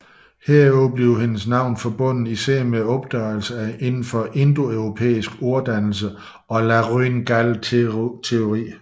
Herudover forbindes hendes navn især med opdagelser inden for indoeuropæisk orddannelse og laryngalteori